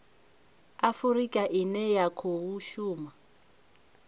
afurika ine ya khou shuma